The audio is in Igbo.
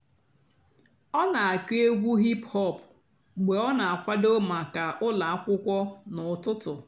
ọ́ nà-àkụ́ ègwú hìp-hòp mg̀bé ọ́ nà-àkwàdó màkà ụ́lọ́ àkwụ́kwọ́ n'ụ́tụtụ́.